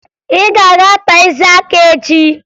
Ị ga-aga kpaa isi aka echi!